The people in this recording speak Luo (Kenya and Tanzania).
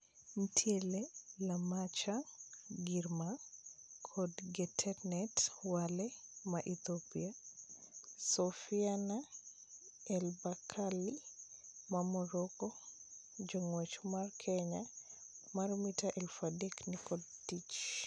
Nitiere Lamecha Girma kod Getnet Wale maa Ethiopia. Soufiane El Bakkali maa Morocco. Jongwech ma Kenya mar mita eluf adek ni kod tich.